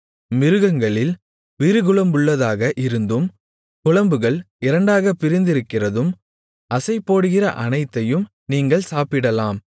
மிருகங்களில் விரிகுளம்புள்ளதாக இருந்து குளம்புகள் இரண்டாகப் பிரிந்திருக்கிறதும் அசைபோடுகிற அனைத்தையும் நீங்கள் சாப்பிடலாம்